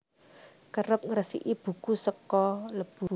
Kerep ngresiki buku saka lebu